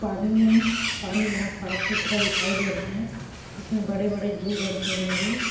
पानी में पानी बहुत साफ सुथरा दिखाई दे रहा है इसमें बड़े-बड़े जीव जंतु होंगे --